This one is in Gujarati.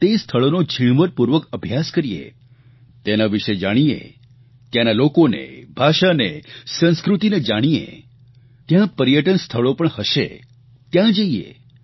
તે સ્થળોનો ઝીણવટપૂર્વક અભ્યાસ કરીએ તેના વિષે જાણીએ ત્યાંના લોકોને ભાષાને સંસ્કૃતિને જાણીએ ત્યાં પર્યટન સ્થળો પણ હશે ત્યાં જઇએ